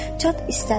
çat istədi.